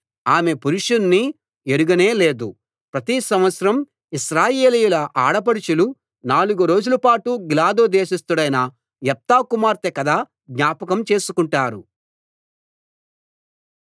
ఆమె పురుషుణ్ణి ఎరుగనే లేదు ప్రతి సంవత్సరం ఇశ్రాయేలీయుల ఆడపడుచులు నాలుగు రోజులపాటు గిలాదు దేశస్థుడైన యెఫ్తా కుమార్తె కథ జ్ఞాపకం చేసుకుంటారు